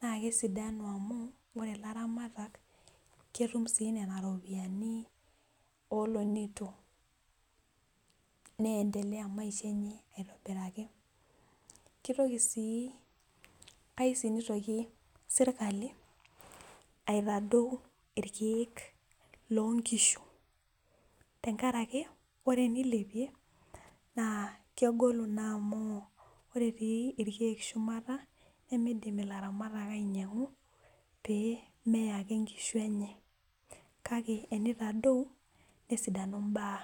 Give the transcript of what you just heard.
naa kesidanu amu ore ilaramatak ketum sii nena ropiyiani oolonitok neyentelea maisha enye aitobiraki kitoki sii kaiu sii nitoki serikali aitadou ilkeek, loo nkishu tenkaraki ore tenilepie naa kegolu naa amu ore etii ilkeek shumata nimidim ilaramatak ainyang'u pee mee ake inkishu enye , kake tenitadau nesidanu ibaa.